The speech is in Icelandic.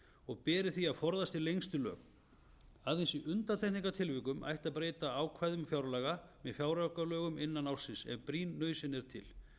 og beri því að forðast í lengstu lög aðeins í undantekningartilvikum ætti að breyta ákvæðum fjárlaga með fjáraukalögum innan ársins ef brýn nauðsyn er til